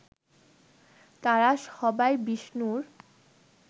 তারা সবাই বিষ্ণুর